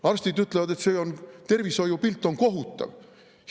Arstid ütlevad, et tervishoiupilt on kohutav.